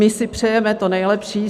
My si přejeme to nejlepší.